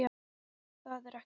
Það er ekkert mál.